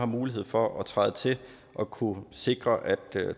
mulighed for at træde til og kunne sikre at